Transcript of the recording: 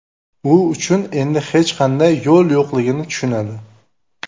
U uchun endi hech qanday yo‘l yo‘qligini tushunadi.